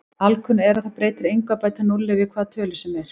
Alkunna er að það breytir engu að bæta núlli við hvaða tölu sem er.